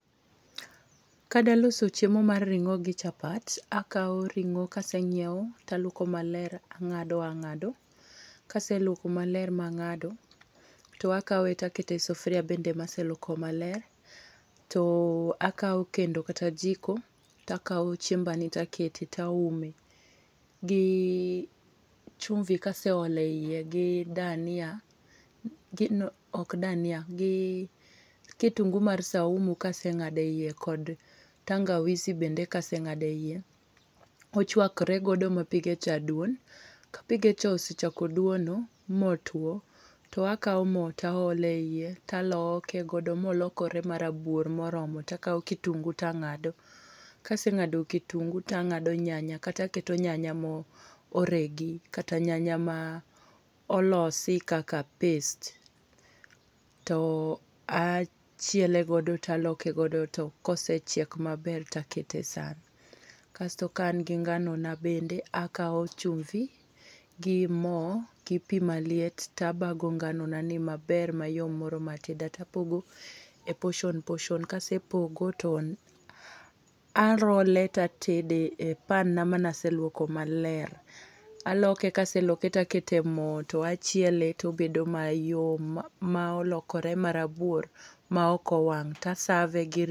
Ka dwa loso chiemo mar ringó gi chapat, akawo ringó kasenyiewo, to aluoko maler, angádo angádo. Kaseluoko maler ma angádo, to akawe to akete e sufria bende ma aseluoko maler, to akao kendo kata jiko to akao chiembani takete toaume. Gi chumvi kaseole iye, gi dania, ok dania, gi kitungu mar saumu ka asengáde iye kod tangawizi bende kasengáde iye, ochwakore godo ma pige cha dwon. Ka pige cha osechako dwono motwo, to akao mo to aolo e ie, taloke godo molokore marabuor moromo. Takao kitungu tangádo, kasengádo kitungu, tangádo nyanya, kata aketo nyanya maoregi kata nyanya ma olosi kaka paste to achiele godo, to aloke godo, to ka osechiek maber, to akete e san. Kasto ka an gi ngano na bende, akao chumvi, gi mo, gi pi maliet, to abago ngano na ni maber, mayom moroma tedo, to apogo e portion, portion, ka asepogo to a roll e to atede e pan na mane aseluoko maler. Aloke, ka aseloke, to akete mo to achiele to obedo mayom ma, ma olokore marabuor, ma ok owang'. To a serve gi.